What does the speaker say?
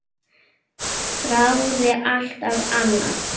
Þráði alltaf annað.